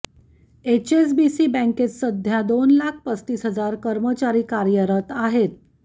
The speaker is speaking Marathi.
एचएसबीसी बँकेत सध्या दोन लाख पस्तीस हजार कर्मचारी कार्यरत आहेत